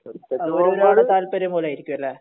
അത് ഒരാളെ താല്പര്യം പോലെ ആയിരിക്കും അല്ലെ